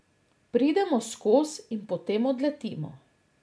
Pridemo skoz in potem odletimo.